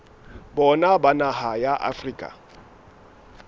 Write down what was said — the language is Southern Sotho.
bona ba naha ya afrika